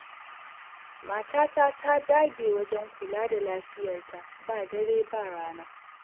Matata ta dage wajen kula da lafiyarta ba dare ba rana.